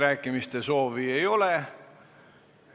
Rohkem kõnesoove ei ole.